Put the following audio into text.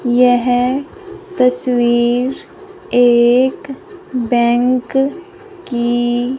यह तस्वीर एक बैंक की--